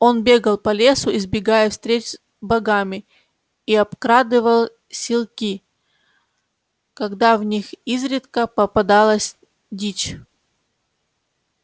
он бегал по лесу избегая встреч с богами и обкрадывал силки когда в них изредка попадалась дичь